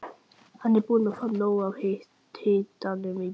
Hann er búinn að fá nóg af hitanum í bili.